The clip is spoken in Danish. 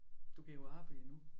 Du går på arbejde endnu